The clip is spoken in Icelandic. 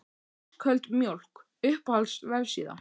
Ísköld mjólk Uppáhalds vefsíða?